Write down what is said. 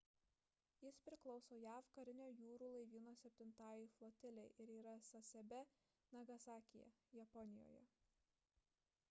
jis priklauso jav karinio jūrų laivyno septintajai flotilei ir yra sasebe nagasakyje japonijoje